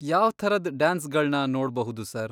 ಯಾವ್ಥರದ್ ಡ್ಯಾನ್ಸ್ಗಳ್ನ ನೋಡ್ಬಹುದು ಸರ್?